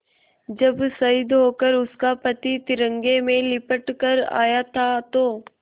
जब शहीद होकर उसका पति तिरंगे में लिपट कर आया था तो